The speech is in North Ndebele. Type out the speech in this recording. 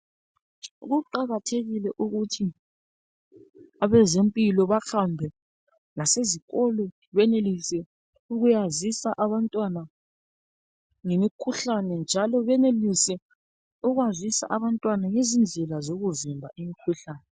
Kuqakathekile ukuthi abezempilo bahambe lasezikolo. Benelise ukuyazisa abantwana ngemikhuhlane, njalo benelise ukwazisa abantwana ngezindlela, zokuvimba imikhuhlane.